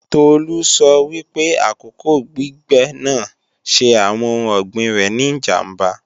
Tolú sọ wípé àkókò gbígbẹ́ náà ṣe àwọn oun ọ̀gbìn rẹ̀ ní ìjàmbá